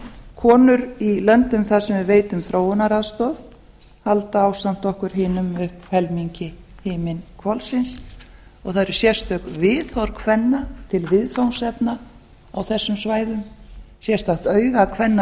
konur í löndum þar sem við veitum þróunaraðstoð halda ásamt okkur hinum uppi helmingi himinhvolfsins og það eru sérstök viðhorf kvenna til viðfangsefna á þessum svæðum sérstakt auga kvenna